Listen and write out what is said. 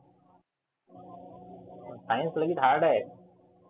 science लई hard आहे.